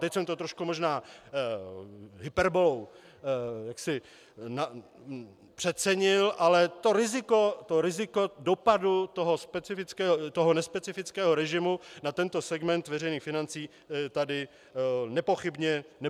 Teď jsem to trošku možná hyperbolou přecenil, ale to riziko dopadu toho nespecifického režimu na tento segment veřejných financí tady nepochybně je.